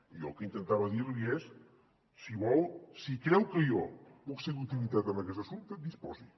jo el que intentava dir li és si vol si creu que jo puc ser d’utilitat en aquest assumpte disposi